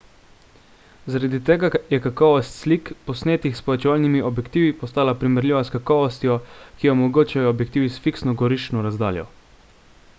zaradi tega je kakovost slik posnetih s povečevalni objektivi postala primerljiva s kakovostjo ki jo omogočajo objektivi s fiksno goriščno razdaljo